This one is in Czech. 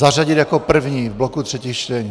Zařadit jako první v bloku třetích čtení...